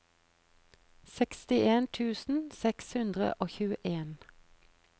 sekstien tusen seks hundre og tjueen